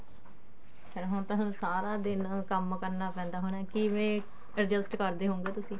ਫੇਰ ਹੁਣ ਤਾਂ ਤੁਹਾਨੂੰ ਸਾਰਾ ਦਿਨ ਕੰਮ ਕਰਨਾ ਪੈਂਦਾ ਹੋਣਾ ਕਿਵੇਂ adjust ਕਰਦੇ ਹੋਉਂਗੇ ਤੁਸੀਂ